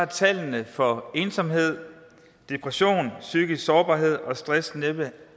tallene for ensomhed depression psykisk sårbarhed og stress næppe været